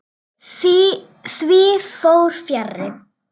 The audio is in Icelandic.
Því fór fjarri.